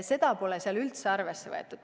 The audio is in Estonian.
Seda pole eelnõus üldse arvesse võetud.